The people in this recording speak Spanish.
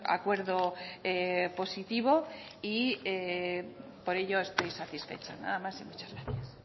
acuerdo positivo y por ello estoy satisfecha nada más y muchas gracias